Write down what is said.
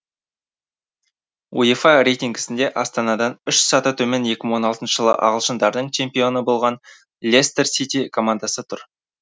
уефа рейтингісінде астанадан үш саты төмен екі мың он алтыншы жылы ағылшындардың чемпионы болған лестер сити командасы тұр